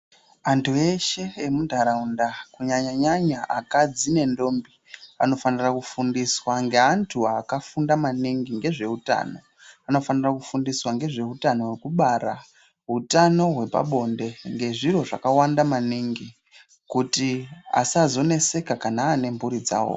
Antu eshe emunharaunda kunyanyanyanya akadzi nendombi anofananira kufundiswa ngeanhu akafunda maningi ngezveutano ,anofanira kufundiswa ngezveutano hwekubara ,utano hwepabonde, ngezviro zvakawanda maningi kuti asazoneseka kana ane mhuri dzawo.